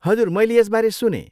हजुर, मैले यसबारे सुनेँ।